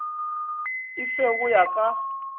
e fe go ya ka